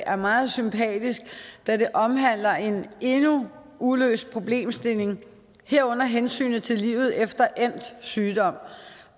er meget sympatisk da det omhandler en endnu uløst problemstilling herunder hensynet til livet efter endt sygdom